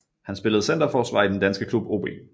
Han spillede centerforsvar i den danske klub OB